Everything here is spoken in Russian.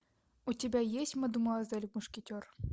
у тебя есть мадемуазель мушкетер